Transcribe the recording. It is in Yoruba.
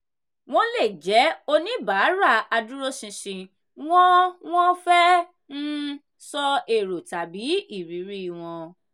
wọ́n lè jẹ́ oníbàárà adúróṣinṣin wọ́n wọ́n fẹ́ um sọ èrò tàbí irírí wọn.